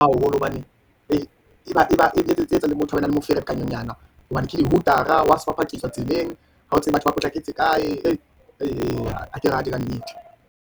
Haholo hobane e ba e etsang motho a bane le moferekaninyana, hobane ke dihutara, hwa phakiswa tseleng, ha o tsebe batho ba potlaketse kae, hake rate kannete.